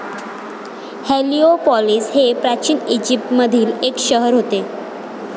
Heliopolis हे प्राचीन ईजिप्तमधील एक शहर होते